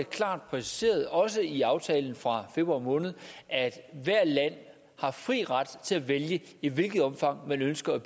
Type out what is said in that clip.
klart præciseret også i aftalen fra februar måned at hvert land har fri ret til at vælge i hvilket omfang man ønsker at